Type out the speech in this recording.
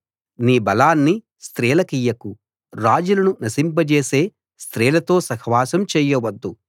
నీ బలాన్ని స్త్రీలకియ్యకు రాజులను నశింపజేసే స్త్రీలతో సహవాసం చేయ వద్దు